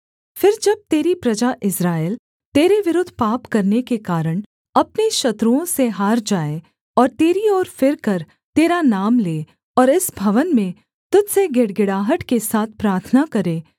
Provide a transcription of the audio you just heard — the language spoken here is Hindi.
फिर जब तेरी प्रजा इस्राएल तेरे विरुद्ध पाप करने के कारण अपने शत्रुओं से हार जाए और तेरी ओर फिरकर तेरा नाम ले और इस भवन में तुझ से गिड़गिड़ाहट के साथ प्रार्थना करे